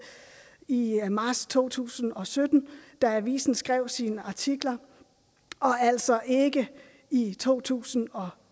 i marts to tusind og sytten da avisen skrev sine artikler og altså ikke i to tusind og